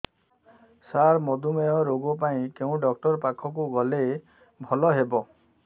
ସାର ମଧୁମେହ ରୋଗ ପାଇଁ କେଉଁ ଡକ୍ଟର ପାଖକୁ ଗଲେ ଭଲ ହେବ